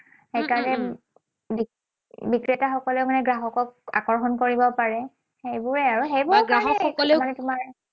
সেইকাৰণে বিক্ৰেতাসকলে মানে গ্ৰাহকক আকৰ্ষণ কৰিব পাৰে। সেইবোৰেই আৰু।